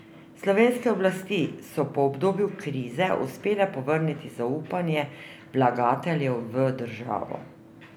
Slovenske oblasti so po obdobju krize uspele povrniti zaupanje vlagateljev v državo.